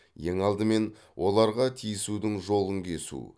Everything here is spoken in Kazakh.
ең алдымен оларға тиісудің жолын кесу